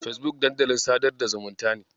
Fesbuk dandalin sadar da zumunta ne.